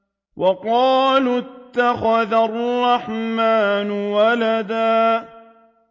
وَقَالُوا اتَّخَذَ الرَّحْمَٰنُ وَلَدًا